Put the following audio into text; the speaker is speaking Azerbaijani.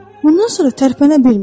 Bundan sonra tərpənə bilmir.